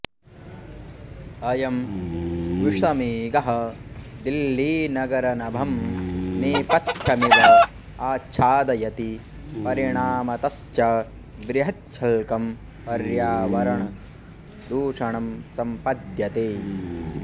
अयं विषमेघः दिल्लीनगरनभं नेपथ्यमिव आच्छादयति परिणामतश्च बृहच्छल्कं पर्यावरणदूषणं सम्पद्यते